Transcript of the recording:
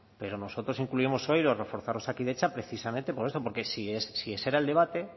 pero nosotros incluimos hoy lo de reforzar osakidetza precisamente por esto porque si ese era el debate